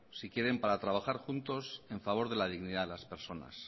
si quieren para trabajar juntos en favor de la dignidad de las personas